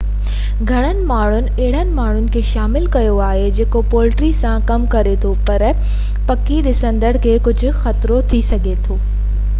گهڻن ماڻهن اهڙن ماڻهن کي شامل ڪيو آهي جيڪو پولٽري سان ڪم ڪري ٿو پر پکي ڏسندڙن کي ڪجهہ خطرو ٿي سگهي ٿو